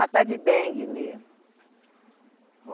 A tal de dengue mesmo.